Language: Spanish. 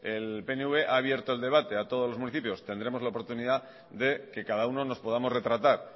el pnv ha abierto el debate a todos los municipios tendremos la oportunidad de que cada uno nos podamos retratar